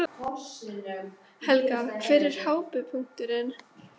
Helga: Hver var hápunkturinn?